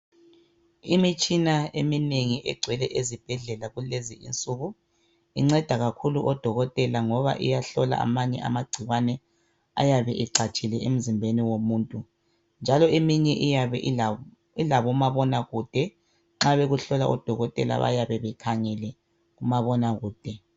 Imitshina eminengi egcwele ezibhedlela kulezi insuku inceda kakhulu o Dokotela ngoba iyahlola amanye amagcikwane ayabe ecatshile emzimbeni womuntu njalo eminye iyabe ilabo ilabo mabonakude nxa bekuhlola o Dokotela bayabe bekhangele umabonakude.